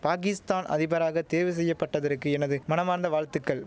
பாகிஸ்தான் அதிபராக தேர்வு செய்ய பட்டதற்கு எனது மனமார்ந்த வாழ்த்துக்கள்